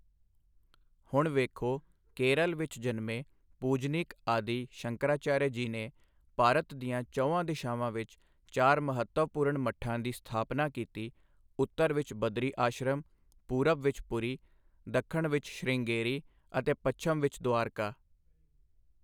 ਹੁਣ ਵੇਖੋ ਕੇਰਲ ਵਿੱਚ ਜਨਮੇ ਪੂਜਨੀਕ ਆਦਿ ਸ਼ੰਕਰਾਚਾਰਿਆ ਜੀ ਨੇ ਭਾਰਤ ਦੀਆਂ ਚਹੁੰਆਂ ਦਿਸ਼ਾਵਾਂ ਵਿੱਚ ਚਾਰ ਮਹੱਤਵਪੂਰਣ ਮੱਠਾਂ ਦੀ ਸਥਾਪਨਾ ਕੀਤੀ ਉੱਤਰ ਵਿੱਚ ਬੱਦਰੀ ਆਸ਼ਰਮ, ਪੂਰਬ ਵਿੱਚ ਪੂਰੀ, ਦੱਖਣ ਵਿੱਚ ਸ਼੍ਰਿੰਗੇਰੀ ਅਤੇ ਪੱਛਮ ਵਿੱਚ ਦੁਆਰਕਾ।